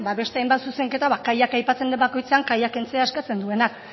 beste hainbat zuzenketa ba kaiak aipatzen den bakoitzean kaiak kentzea eskatzen duenak